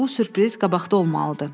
Bu sürpriz qabaqda olmalıdır.